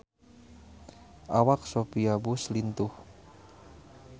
Awak Sophia Bush lintuh